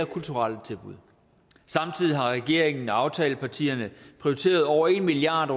kulturelle tilbud samtidig har regeringen og aftalepartierne prioriteret over en milliard